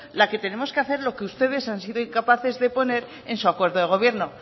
la que tenemos que hacer lo que ustedes han sido incapaces de poner en su acuerdo de gobierno